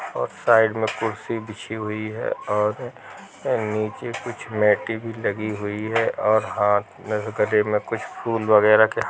और साइड में कुर्सी बिछी हुई है और नीचे कुछ मेटी भी लगी हुई है और हाथ में गले में कुछ फूल वगैरह क्या --